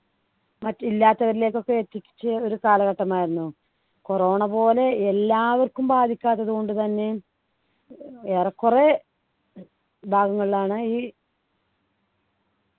മറ്റ് ഇല്ലാത്തവരിലേക്ക് ഒക്കെ എത്തിച്ചേ ഒരു കാലഘട്ടമായിരുന്നു corona പോലെ എല്ലാവർക്കും ബാധിക്കാത്തതുകൊണ്ടുതന്നെ ഏറെക്കുറെ ഭാഗങ്ങളിലാണ് ഈ